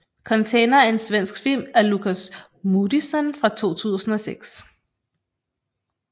Container er en svensk film af Lukas Moodysson fra 2006